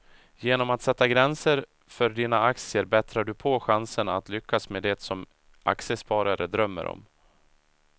Genom att sätta gränser för dina aktier bättrar du på chanserna att lyckas med det som aktiesparare drömmer om.